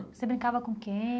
Você brincava com quem?